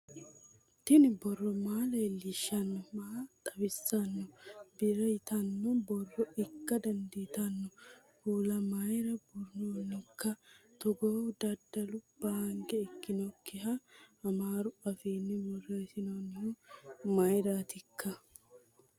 tini borro maa leellishshanno maa xawissanno birr yitanno borro ikka dandiitanno kuula mayra buurronnihoikka togoohu dadalu banke ikkannoikka amaaru afiinni borreessinoonnihu mayraatikka